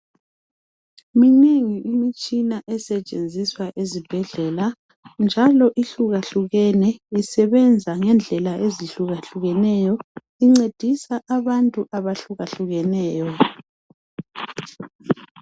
Minengi imitshina esetshenziswa ezibhedlela, njalo ihlukahlukene. Isebenza ngendlela ezihlukahlukeneyo. Incedisa abantu abahlukehlukeneyo.